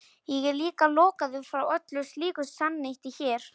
Ég er líka lokaður frá öllu slíku samneyti hér.